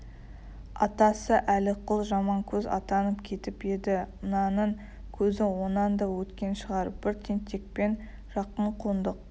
атасы әліқұл жаманкөз атанып кетіп еді мынаның көзі онан да өткен шығар бір тентекпен жақын қондық